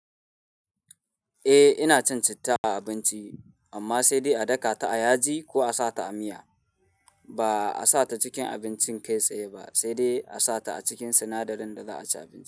Eh ina cin citta a abinci amma sai dai a daka ta a yaji ko a sa ta a miya ba a sa ta cikin abincin kai tsaye ba sai dai a sa ta a cikin sinadarin da za a ci abinci.